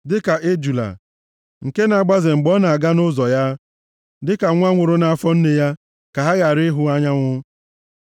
Dịka ejula nke na-agbaze mgbe ọ na-aga nʼụzọ ya; dịka nwa nwụrụ nʼafọ nne ya, ka ha ghara ịhụ anyanwụ.